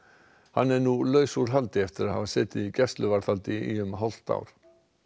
hann er nú laus úr haldi eftir að hafa setið í gæsluvarðhaldi í um hálft ár